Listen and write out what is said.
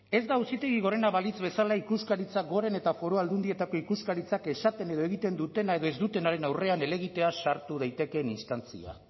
ez da auzitegi gorena balitz bezala ikuskaritza goren eta foru aldundietako ikuskaritzak esaten edo egiten dutena edo ez dutenaren aurrean helegitea sartu daitekeen instantzia